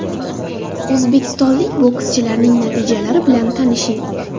O‘zbekistonlik bokschilarning natijalari bilan tanishing: !